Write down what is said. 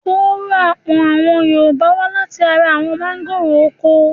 Kóró apọ̀n àwọn Yorùbá wá láti ara àwọn mángòrò oko.